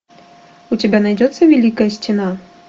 у тебя найдется великая стена